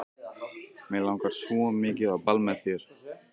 Mig langar svo mikið á ball með þér.